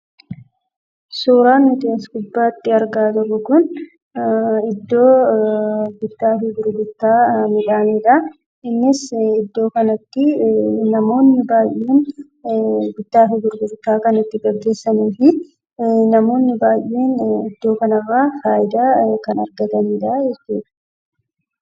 Suuraan nuti as gubbaatti argaa jirru kun, iddoo bittaafii gurgurtaa midhaaniidha. Innis iddoo kanatti namoonni baayyeen, bittaafi gurgurtaa kan itti gaggeesaniifi namoonni baayyeen iddoo kanarraa faayidaa kan argatanidha.